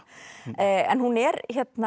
en hún er